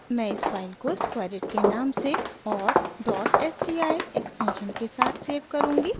मैं इस फाइल को squareit के नाम से और sci एक्सटेंशन के साथ सेव करुँगी